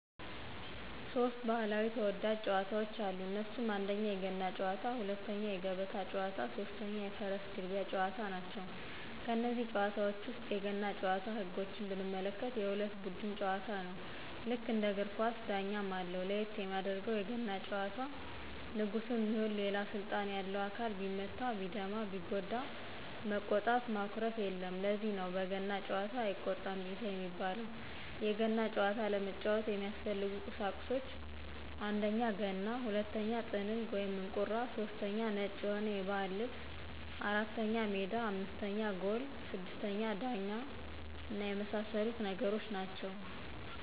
ሦስት ባህላዊ ተወዳጅ ጨዋታወች አሉ እነሱም 1: የገና ጨዋታ 2: የገበታ ጨዋታ 3: የፈረስ ግልቢያ ጨዋታ ናቸው። ከነዚህ ጨዋታወች ውስጥ የገና ጭዋታን ህጎች ብንመለከት የሁለት ቡድን ጨዋታ ነው ልክ እንደ እግር ኳስ ዳኛም አለው ለየት የሚያደርገው የገና ጨዋታ ንጉስም ይሁን ሌላ ስልጣን ያለው አካል ቢመታ ቢደማ ቢጎዳ መቆጣት ማኩረፍየለም ለዚህ ነው በገና ጨዋታ አይቆጣም ጌታ የሚባለው የገና ጨዋታ ለመጫወት የሚያስፈልጉ ቁሳቁሶች 1: ገና 2: ጥንግ /እንቁራ / 3: ነጭ የሆነ የባህል ልብስ 4: ሜዳ 5: ጎል 6: ዳኛ የመሳሰሉት ነገሮች ናቸው